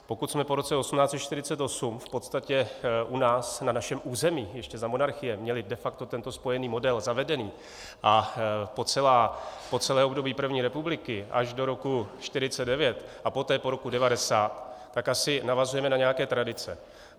Pokud jsme po roce 1848 v podstatě u nás, na našem území ještě za monarchie měli de facto tento spojený model zavedený a po celé období první republiky až do roku 1949 a poté po roku 1990, tak asi navazujeme na nějaké tradice.